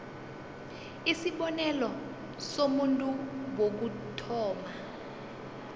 isibonelo somuntu wokuthoma